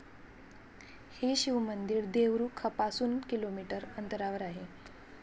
हे शिवमंदिर देवरूखपासूनकिलोमीटर अंतरावर आहे.